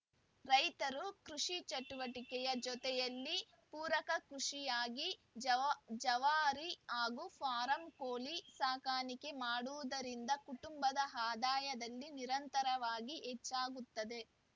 ರೈತರು ಕೃಷಿ ಚಟುವಟಿಕೆಯ ಜೊತೆಯಲ್ಲಿ ಪೂರಕ ಕೃಷಿಯಾಗಿ ಜವಾರಿ ಹಾಗೂ ಫಾರಂ ಕೋಳಿ ಸಾಕಾಣಿಕೆ ಮಾಡುವುದರಿಂದ ಕುಟುಂಬದ ಆದಾಯದಲ್ಲಿ ನಿರಂತರವಾಗಿ ಹೆಚ್ಚಾಗುತ್ತದೆ